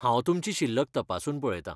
हांव तुमची शिल्लक तपासून पळयतां.